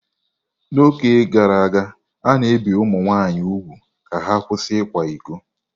N'oge gara aga, a na-ebi ụmụ nwanyị úgwù ka ha kwụsị ịkwa iko.